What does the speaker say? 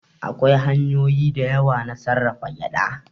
Akwai hanyoyi da yawa na sarrafa gyaɗa.